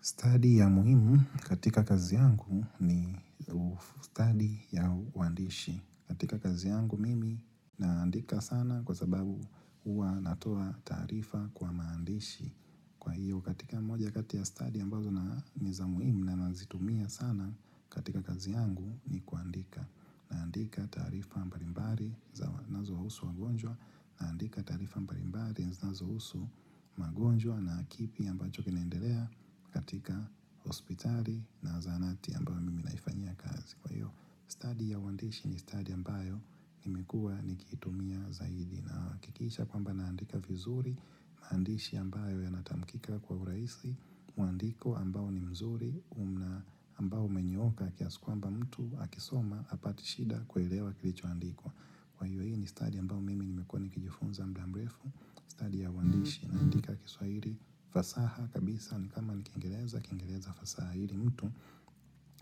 Stadi ya muhimu katika kazi yangu ni stadi ya uandishi. Katika kazi yangu mimi naandika sana kwa sababu hua natoa taarifa kwa maandishi. Kwa hio katika moja kati ya stadi ambazo na niza muhimu na nazitumia sana katika kazi yangu ni kuandika. Naandika taarifa mbalimbali za wa nazohusu wagonjwa Naandika taarifa mbalimbari zinazohusu magonjwa na kipi ambacho kinaendelea katika hospitali na zaanati ambayo mimi naifanyia kazi kwa hio Stadi ya uandishi ni stadi ambayo nimekua nikiitumia zaidi Naakikisha kwamba naandika vizuri, maandishi ambayo ya natamkika kwa uraisi, mwandiko ambao ni mzuri, umna ambao umenyooka kiasi kwamba mtu akisoma apatishida kuelewa kilichoandikwa. Kwa hio hii ni stadi ambao mimi nimekuwa nikijifunza mda mrefu, stadi ya uandishi naandika kiswairi, fasaha kabisa ni kama ni kingereza, kingereza fasaha ili mtu.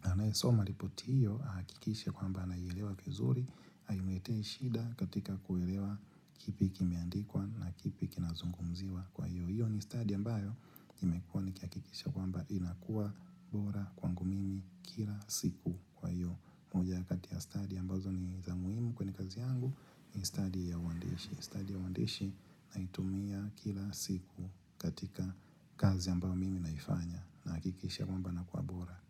Anaesoma lipoti hiyo aakikishe kwamba anaielewa 'zuri Haimletei shida katika kuelewa kipi kimeandikwa na kipi kinazungumziwa kwa hio hiyo ni stadi ambayo Nimekuwa ni kiakikisha kwamba inakua bora kwangu mimi kila siku kwa hio moja kati ya stadi ambazo ni zamuimu kwene kazi yangu ni stadi ya uandishi Stadi ya uandishi naitumia kila siku katika kazi ambayo mimi naifanya Naakikisha kwamba nakua bora.